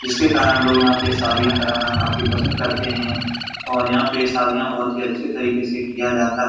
इसके कारण लोग यहाँ पे शादियाँ कराना पसंद करते है और यहाँ पे शादियाँ बहुत ही अछे तरीके से किया जाता है ।